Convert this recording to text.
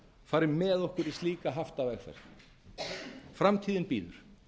fari með okkur í slíka haftavegferð framtíðin bíður